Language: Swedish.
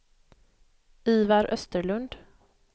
Ivar Österlund